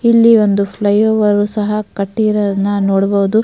ಇಲ್ಲಿ ಒಂದು flyover ಸಹ ಕಟ್ಟಿರೋಡ್ನ ನೋಡಬಹುದು.